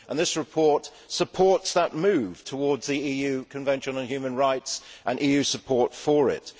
This report supports that move towards the EU Convention on Human Rights and EU support for it.